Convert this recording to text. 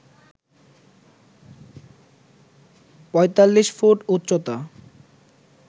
৪৫ foot উচ্চতা